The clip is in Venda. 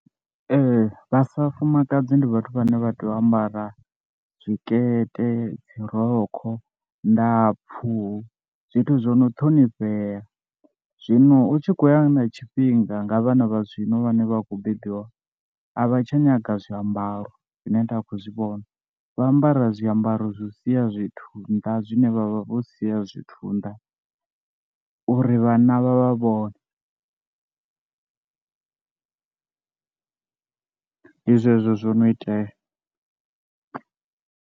Ee vha sa fumakadzi ndi vhathu vhane vha tea u ambara zwikete dzi rokho ndapfu zwithu zwo no ṱhonifhea, zwino u tshi khou ya na tshifhinga nga vhana vha zwino vhane vha khou bebiwa a vha tsha nyaga zwiambaro zwine nda khou zwi vhona, vha ambara zwiambaro zwi sia zwithu nda zwine vha vha vho sia zwithu nda, uri vhanna vha vha vhone, ndi zwezwo zwo no itea.